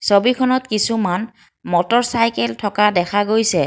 ছবিখনত কিছুমান মটৰচাইকেল থকা দেখা গৈছে।